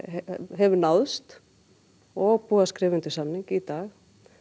hefur náðst og búið að skrifa undir samning í dag